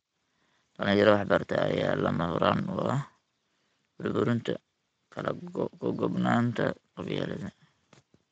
Dhalinyaro wax bartay ayaa lama huraan u ah burburinta kala qoqobnaanta qabyaaladda.